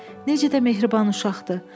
Necə də mehriban uşaqdır.